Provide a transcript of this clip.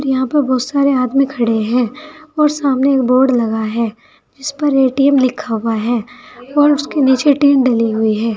और यहां पे बहुत सारे आदमी खड़े हैं और सामने एक बोर्ड लगा है जिस पर ए_टी_एम लिखा हुआ है और उसके नीचे टीन डली हुई है।